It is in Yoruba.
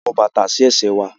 A n wọ bàtà si ẹ̀se wà